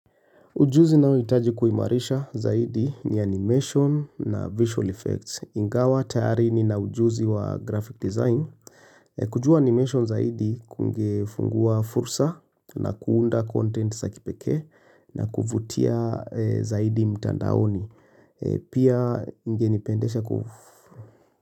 Ujuzi ninao itaji kuimarisha zaidi ni animation na visual effects. Ingawa, tayari ni na ujuzi wa graphic design. Kujua animation zaidi kungefungua fursa na kuunda content sa kipeke na kuvutia zaidi mitandaoni. Pia ingenipendesha kufufu.